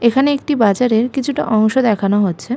এখানে একটি বাজারের কিছুটা অংশ দেখানো হচ্ছে।